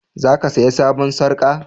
Za ka saya sabon sarka?